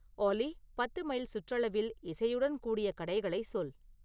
ஆலி பத்து மைல் சுற்றளவில் இசையுடன் கூடிய கடைகளை சொல்